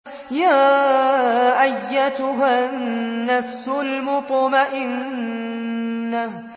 يَا أَيَّتُهَا النَّفْسُ الْمُطْمَئِنَّةُ